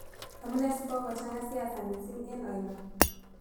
Amunee sigogochang'a siasa misiing' eng' oino